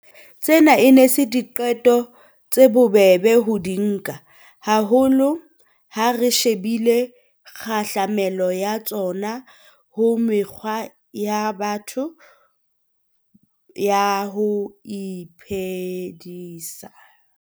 Tsena e ne e se diqeto tse bobebe ho di nka, haholo ha re shebile kgahlamelo ya tsona ho mekgwa ya batho ya ho iphedisa.